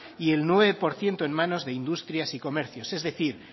y el nueve por ciento en manos de industrias y comercios es decir